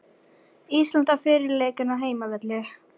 Ísland á fyrri leikinn á heimavelli